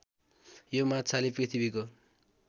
यो माछाले पृथ्वीको